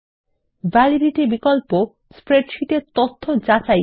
validity বিকল্প spreadsheet এর তথ্য যাচাই করে